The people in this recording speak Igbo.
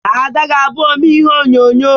Ada ga-abụ omee ihe onyonyo